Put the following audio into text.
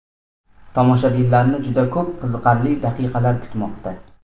Tomoshabinlarni juda ko‘p qiziqarli daqiqalar kutmoqda.